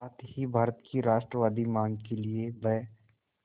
साथ ही भारत की राष्ट्रवादी मांग के लिए ब्